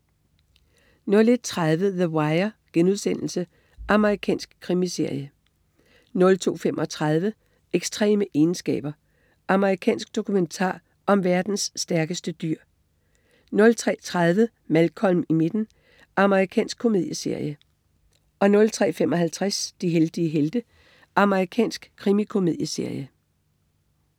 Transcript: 01.30 The Wire.* Amerikansk krimiserie 02.35 Ekstreme egenskaber. Amerikansk dokumentar om verdens stærkeste dyr 03.30 Malcolm i midten. Amerikansk komedieserie 03.55 De heldige helte. Amerikansk krimikomedieserie